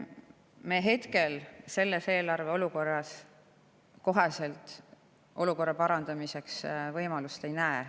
Me hetkel, selles eelarve olukorras kohe olukorra parandamiseks võimalust ei näe.